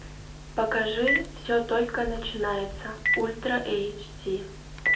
покажи все только начинается ультра эйч ди